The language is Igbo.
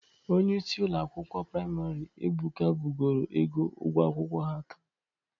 Onyeisi ụlọ akwụkwọ priamarị Ebuka bugoro ego ụgwọ akwụkwọ ha taata.